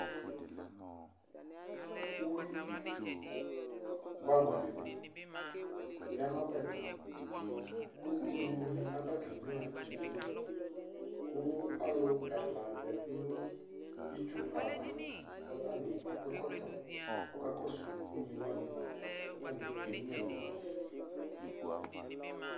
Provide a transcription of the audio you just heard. Uwi bɛamʋ dini yanʋ ɔbɛ ɛtʋ, kʋ ʋnyini aba kenyua ivi yɛ kʋ alʋ ɛla zati nʋ itsu ava kʋ ɔtani akɔ ɛkɔtɔ kʋ ɔkakɔsʋ ʋnyiwani kʋ atani kenyua ivi yɛ